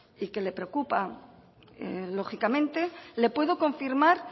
y que le preocupa lógicamente le puedo confirmar